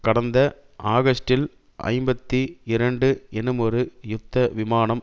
கடந்த ஆகஸ்டில் ஐம்பத்தி இரண்டு எனுமொரு யுத்த விமானம்